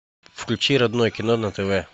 включи родное кино на тв